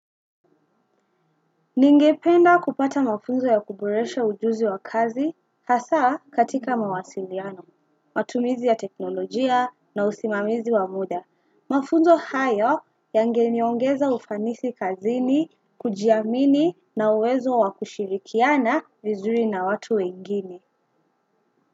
Ningependa kupata mafunzo ya kuboresha ujuzi wa kazi hasa katika mawasiliano, matumizi ya teknolojia na usimamizi wa muda. Mafunzo hayo yangeniongeza ufanisi kazini, kujiamini na uwezo wakushirikiana vizuri na watu wengine.